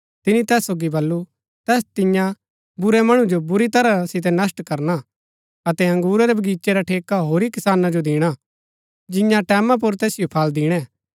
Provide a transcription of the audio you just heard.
तिनी तैस सोगी बल्लू तैस तियां बुरै मणु जो बुरी तरह सितै नष्‍ट करणा अतै अंगुरा रै बगीचे रा ठेका होरी किसाना जो दिणा जिंआ टैमां पुर तैसिओ फळ दिणै